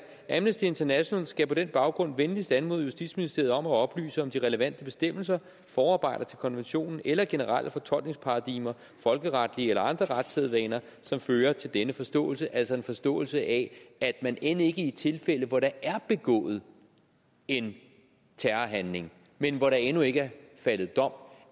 amnesty international skal på den baggrund venligst anmode justitsministeriet om at oplyse om de relevante bestemmelser forarbejder til konventionen eller generelle fortolkningsparadigmer folkeretlige eller andre retssædvaner som fører til denne forståelse altså en forståelse af at man end ikke i tilfælde hvor der er begået en terrorhandling men hvor der endnu ikke er faldet dom